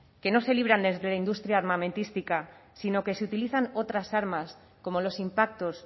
que no se libran desde la industria armamentística sino que se utilizan otras armas como los impactos